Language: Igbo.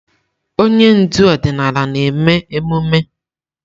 Onye ndu ọdịnala na-eme emume.